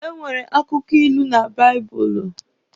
E nwere akụkọ iku na baịbụlụ.